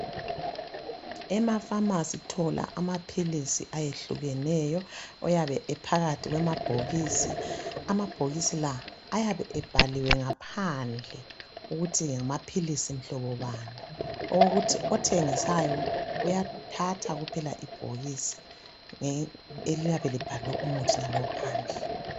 Emafamasi uthola amaphilisi ayehlukeneyo ayabe ephakathi kwamabhokisini, amabhokisi la ayabe ebhaliwe ngaphandle ukuthi ngamaphilisi mhlobo bani okokuthi othengisayo uyathatha kuphela ibhokisi eliyabe libhalwe umuthi wakhona phansi.